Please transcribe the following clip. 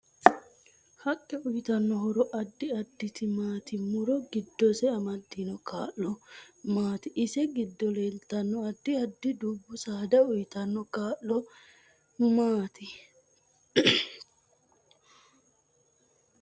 Haqqe uyiitanno horo addi additi maati muro giddose amadino kaa'lo maati ise giddo leeltanno addi addi dubbu saada uyiitanno kaa'lo maati